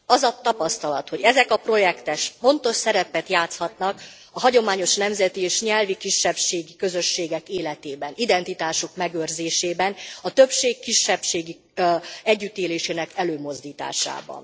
Az a tapasztalat, hogy ezek a projektek fontos szerepet játszhatnak a hagyományos nemzeti és nyelvi kisebbségi közösségek életében, identitásuk megőrzésében a többség kisebbség együttélésének előmozdításában.